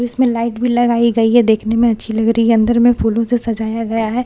जिसमें लाइट भी लगाई गई है देखने में अच्छी लग रही है अंदर में फूलों से सजाय गया है फूल का जो --